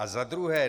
A za druhé.